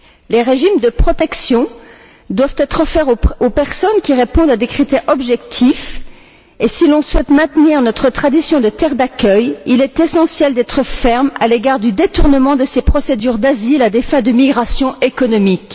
Les régimes de protection doivent être offerts aux personnes qui répondent à des critères objectifs, et si l'on souhaite maintenir notre tradition de terre d'accueil, il est essentiel d'être ferme à l'égard du détournement de ces procédures d'asile à des fins de migration économique.